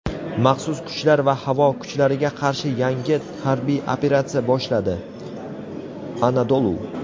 maxsus kuchlar va havo kuchlariga qarshi yangi harbiy operatsiya boshladi – Anadolu.